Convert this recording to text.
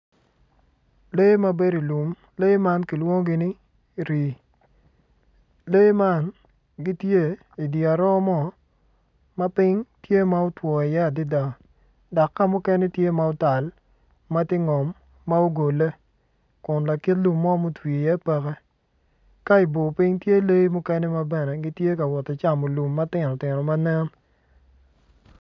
Lee ma bedo i lum ma kilwongo ni rii lee man gityei dye aroo ma piny tye ma otwo adada dok ka mukene tye ma otal.